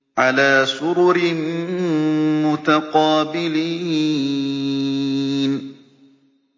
عَلَىٰ سُرُرٍ مُّتَقَابِلِينَ